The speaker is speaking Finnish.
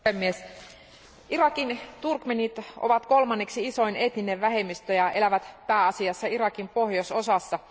Arvoisa puhemies, Irakin turkmeenit ovat kolmanneksi isoin etninen vähemmistö ja elävät pääasiassa Irakin pohjoisosassa.